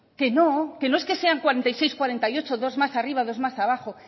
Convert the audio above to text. que no que no es que sea cuarenta y seis cuarenta y ocho dos más arriba dos más abajo